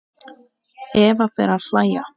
Eva fer að hlæja.